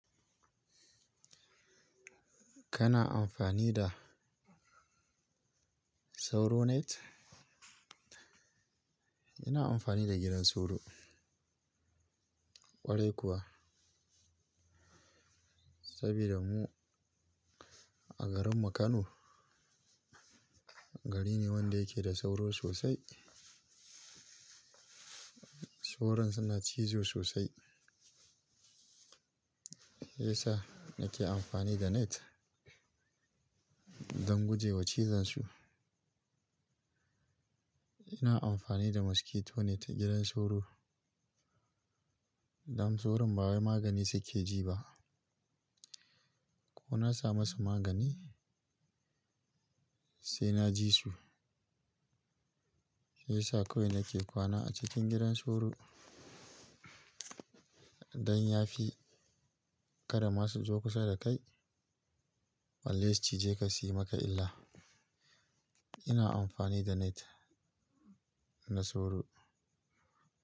Kana amfani da sauro net? Ina amfani da gidan sauro. Kwarai kuwa. Saboda mu a garinmu Kano gari ne wanda yake da sauro sosai. Sauron suna cizo sosai. Shiya sa nake amfani da net don guje wa cizon su. Ina amfani da mosquito net gidan sauro dan sauron ba wai magani suke ji ba. Ko na samu su magani sai na ji su. Shiya sa kawai nake kwana a cikin gidan sauro don ya fi kar masu zo kusa da kai. Balle su cije ka suyi maka illa. Ina amfani da net na sauro.